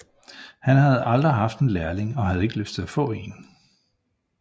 Han havde aldrig haft en lærling og havde ikke lyst til at få en